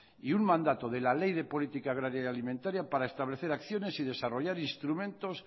y un mandato de la ley de política agraria y alimentaría para establecer acciones y desarrollar instrumentos